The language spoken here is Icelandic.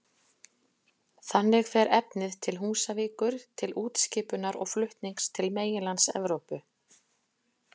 Þannig fer efnið til Húsavíkur til útskipunar og flutnings til meginlands Evrópu.